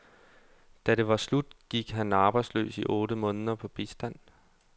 Da det var slut, gik han arbejdsløs i otte måneder på bistand.